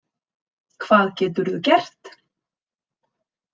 Hvað geturðu gert?